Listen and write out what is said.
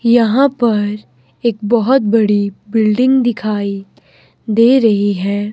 यहां पर एक बहोत बड़ी बिल्डिंग दिखाई दे रही है।